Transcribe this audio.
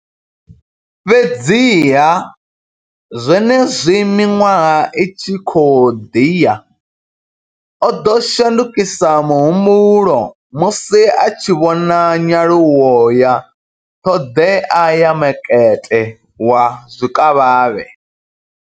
Fhedziha, zwenezwi miṅwaha i tshi khou ḓi ya, o ḓo shandukisa muhumbulo musi a tshi vhona nyaluwo ya ṱhoḓea ya makete wa zwikavhavhe.